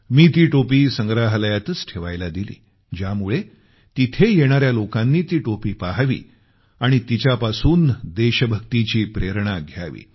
मी ती टोपी संग्रहालयातच ठेवायला दिली ज्यामुळे तिथं येणार्या लोकानी ती टोपी पहावी आणि तिच्यापासून देशभक्तीची प्रेरणा घ्यावी